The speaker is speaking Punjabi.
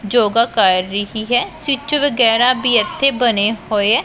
ਯੋਗਾ ਕਰ ਰਹੀ ਹੈ ਸਵਿੱਚ ਵਗੈਰਾ ਵੀ ਇੱਥੇ ਬਣੇ ਹੋਏ ਹੈਂ।